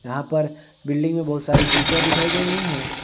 यहां पर बिल्डिंग में बहुत सारी खिड़कियां दिखाई दे रही है।